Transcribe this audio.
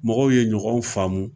Mɔgɔw ye ɲɔgɔn faamu.